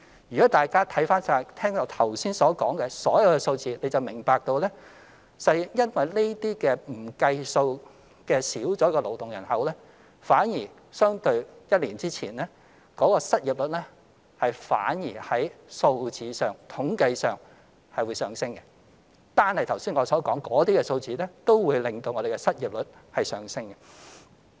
如果大家看看我剛才說的所有數字，就會明白實際上因為這些不計算又減少了的勞動人口，相對一年前失業率反而在數字上、統計上會上升；單是剛才談的數字，也會令失業率上升。